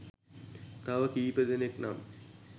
තව කීදෙනෙක් නම්